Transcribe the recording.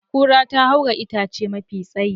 Kura ta haura itace mafi tsayi.